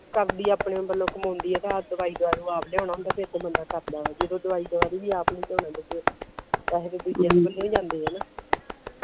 ਕਰਦੀ ਆਪਣੇ ਵਲੋਂ ਕਮਾਉਂਦੀ ਆ ਤਾ ਆ ਦਵਾਈ ਦਾਰੂ ਆਪ ਲਿਆਉਣਾ ਹੁੰਦਾ ਫਿਰ ਤੇ ਬੰਦਾ ਕਰਦਾ ਜਦੋ ਦਵਾਈ ਦਾਰੂ ਵੀ ਅੱਪ ਨਹੀਂ ਲਿਆਉਣਾ ਫਿਰ ਪੈਸੇ ਤੇ ਦੂਜਿਆਂ ਦੇ ਪਲਿਓ ਈ ਜਾਂਦੇ ਆ ਨਾ